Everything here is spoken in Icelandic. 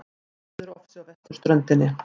Veðurofsi á vesturströndinni